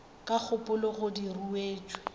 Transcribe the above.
ka gopola gore di ruetšwe